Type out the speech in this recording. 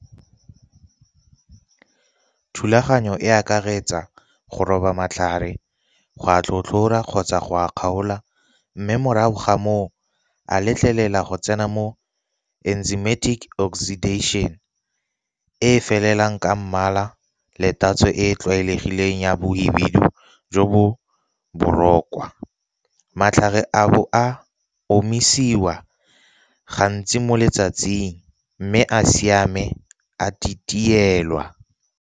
Thulaganyo e akaretsa go roba matlhare go a tlhotlhora kgotsa go a kgaola, mme morago ga moo a letlelela go tsena mo enzymatic oxidation e felelang ka mmala le tatso e e tlwaelegileng ya bohibidu jo bo . Matlhare a bo a omisiwa gantsi mo letsatsing, mme a siame a titielwa.